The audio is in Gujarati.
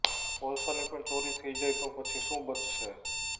કોલસાની પણ ચોરી થઇ જાય તો પછી શું બચશે